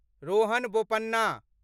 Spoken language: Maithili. रोहन बोपन्ना